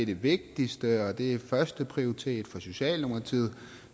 det vigtigste og det er førsteprioritet for socialdemokratiet